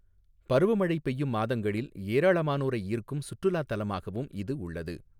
பருவமழை பெய்யும் மாதங்களில் ஏராளமானோரை ஈர்க்கும் சுற்றுலாத் தலமாகவும் இது உள்ளது.